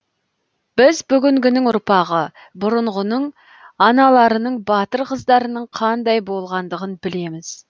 біз бүгінгінің ұрпағы бұрынғының аналарының батыр қыздарының қандай болғандығын білеміз